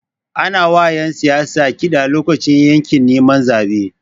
Ana wa ƴan siyasa kiɗa lokacin yaƙin neman zabe.